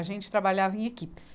A gente trabalhava em equipes.